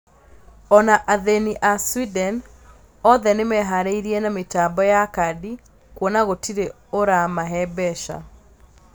Ona athĩni a Sweden othe nĩmeharrĩríirie na mĩtambo ya kadi kwona gũtirĩ ora mahe mbeca